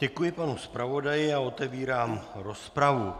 Děkuji panu zpravodaji a otvírám rozpravu.